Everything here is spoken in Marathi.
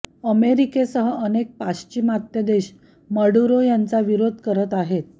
अमेरिकेसह अनेक पाश्चिमात्य देश मडुरो यांचा विरोध करत आहेत